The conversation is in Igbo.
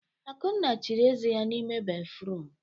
Akunna chiri eze ya n'ime béfrụm.